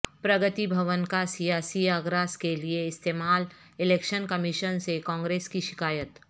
پرگتی بھون کا سیاسی اغراض کیلئے استعمال الیکشن کمیشن سے کانگریس کی شکایت